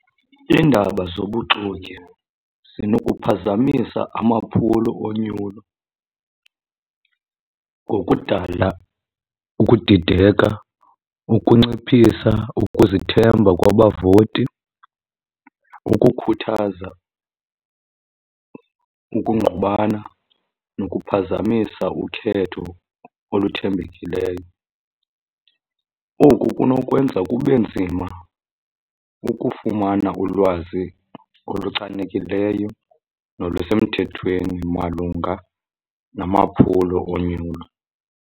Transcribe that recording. Iindaba zobuxoki zinokuphazamisa amaphulo onyulo ngokudala ukudideka, ukunciphisa ukuzithemba kwabavoti, ukukhuthaza ukungqubana nokuphazamisa ukhetho oluthembekileyo. Oku kunokwenza kube nzima ukufumana ulwazi oluchanekileyo nolusemthethweni malunga namaphulo onyulo.